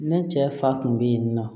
Ne cɛ fa kun be yen nɔ